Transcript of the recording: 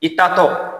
I tatɔ